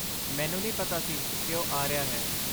ਮੈਨੂੰ ਨਹੀਂ ਪਤਾ ਸੀ ਕਿ ਉਹ ਆ ਰਿਹਾ ਹੈ।